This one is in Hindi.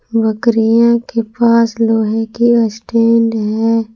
बकरियां के पास लोहे की स्टैंड है।